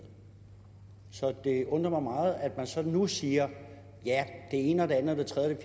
det undrer mig meget at man så nu siger at ja det ene og det andet og det tredje og